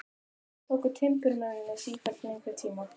Samt tóku timburmennirnir sífellt lengri tíma.